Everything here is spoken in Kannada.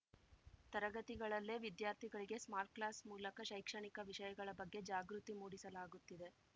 ತರಗತಿಗಳಲ್ಲೇ ವಿದ್ಯಾರ್ಥಿಗಳಿಗೆ ಸ್ಮಾರ್ಟ್‌ಕ್ಲಾಸ್‌ ಮೂಲಕ ಶೈಕ್ಷಣಿಕ ವಿಷಯಗಳ ಬಗ್ಗೆ ಜಾಗೃತಿ ಮೂಡಿಸಲಾಗುತ್ತಿದೆ